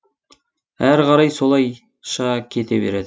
әрі қарай солайша кете береді